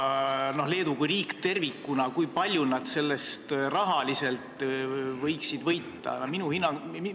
Ja kui palju Leedu riik tervikuna võiks sellest rahaliselt võita?